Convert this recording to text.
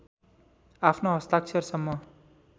आफ्नो हस्ताक्षरसम्म